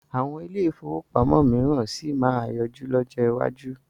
Àwọn ilé-ìfowópamọ́ mìíràn sì máa yọjú lọ́jọ́ iwájú.